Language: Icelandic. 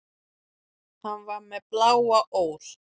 Hann var með bláa ól.